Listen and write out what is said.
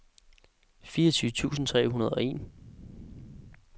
fireogtyve tusind tre hundrede og en